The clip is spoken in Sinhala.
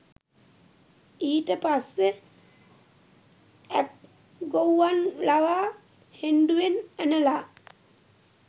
ඊට පස්සෙ ඇත් ගොව්වන් ලවා හෙණ්ඩුවෙන් ඇනලා